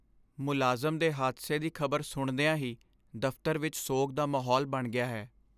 ਮੁਲਾਜ਼ਮ ਦੇ ਹਾਦਸੇ ਦੀ ਖ਼ਬਰ ਸੁਣਦਿਆਂ ਹੀ ਦਫ਼ਤਰ ਵਿੱਚ ਸੋਗ ਦਾ ਮਾਹੌਲ ਬਣ ਗਿਆ ਹੈ।